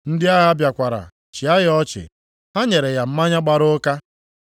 Ndị agha bịakwara chịa ya ọchị. Ha nyere ya mmanya gbara ụka, + 23:36 \+xt Mat 27:48\+xt*